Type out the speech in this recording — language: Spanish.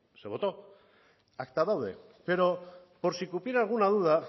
se votó acta doble pero por si cupiera alguna duda